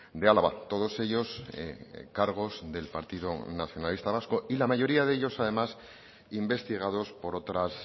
de álava todos ellos cargos del partido nacionalista vasco y la mayoría de ellos además investigados por otras